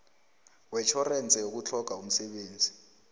wetjhorense yokutlhoga umsebenzi